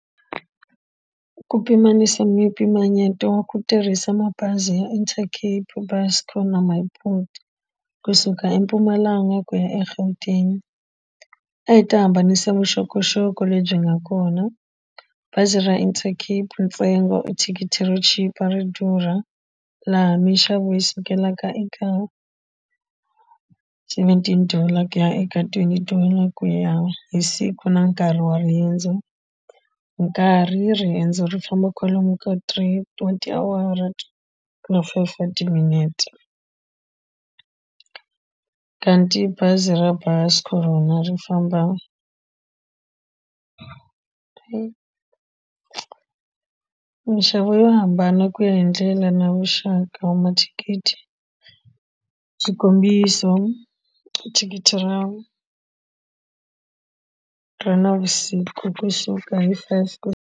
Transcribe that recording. Ku pimanisa mimpimanyeto wa ku tirhisa mabazi ya Intercape Buscor na My Boet kusuka eMpumalanga ku ya eGauteng a hi ta hambanisa vuxokoxoko lebyi nga kona bazi ra Intercape ntsengo thikithi ro chipa ri durha laha minxavo hi sukelaka eka seventeen dollar ku ya eka twenty dollar ku ya hi siku na nkarhi wa riendzo nkarhi riendzo ri famba kwalomu ka three tiawara na five wa timinete ta tibazi ra Buscor rona ri famba minxavo yo hambana ku ya hi ndlela na vuxaka wa mathikithi swikombiso thikithi ra ra navusiku kusuka hi five.